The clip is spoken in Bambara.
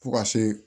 Fo ka se